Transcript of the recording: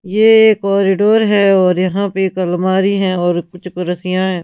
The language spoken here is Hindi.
ये एक कॉरिडोर है और यहां पे एक अलमारी है और कुछ कुर्सियां हैं।